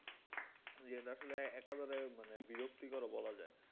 জি এটা আসলে একাধারে মানে বিরক্তিকরও বলা যায়